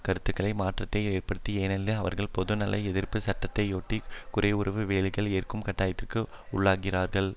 கருத்துக்கள் மாற்றத்தை ஏற்படுத்தாது ஏனெனில் அவர்கள் பொதுநல எதிர்ப்பு சட்டத்தையொட்டி குறைவூதிய வேலைகளை ஏற்கும் கட்டாயத்திற்கு உள்ளாகிறார்கள்